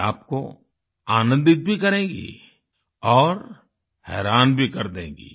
ये आपको आनंदित भी करेंगी और हैरान भी कर देगी